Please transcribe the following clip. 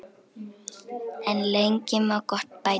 En lengi má gott bæta.